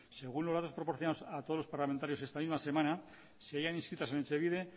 según los datos proporcionados a todos los parlamentarios esta misma semana seguían inscritas en etxebide